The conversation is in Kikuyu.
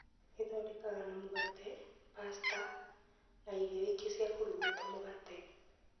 ĩthondekaga na mũgate ,pasta na irio ingĩ ciakũrugwo ta mũgate.